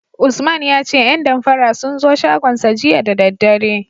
Usman ya ce 'yan damfara sun zo shagonsa jiya da daddare.